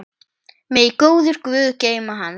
Megi góður guð geyma hann.